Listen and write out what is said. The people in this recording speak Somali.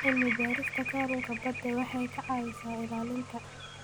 Cilmi-baarista kalluunka badda waxay ka caawisaa ilaalinta.